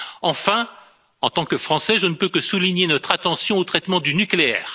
Enfin, en tant que Français, je ne peux que souligner notre attention au traitement du nucléaire.